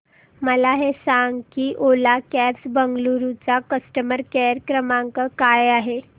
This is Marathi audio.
मला हे सांग की ओला कॅब्स बंगळुरू चा कस्टमर केअर क्रमांक काय आहे